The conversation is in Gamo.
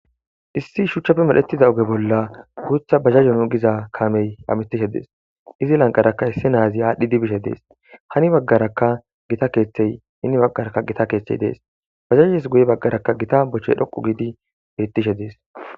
issi shuchchappe medhetiza oge bolla guutha bazazo nu giza kamey hamitishe dees izi lanqaraka issi naazi aadhdhiddi bishe dees hani baggaraka gita keeththey henni baggaraka gita keeththey dees bazazes guye baggarakka gita bochche dhoqu giidi beettishe dees